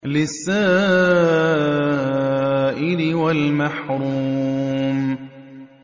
لِّلسَّائِلِ وَالْمَحْرُومِ